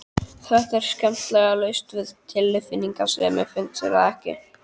Þetta er skemmtilega laust við tilfinningasemi, finnst þér ekki?